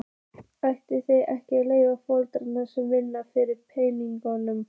Ætli þið eigið ekki foreldra sem vinna fyrir peningum?